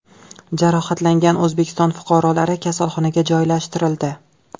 Jarohatlangan O‘zbekiston fuqarolari kasalxonaga joylashtirildi.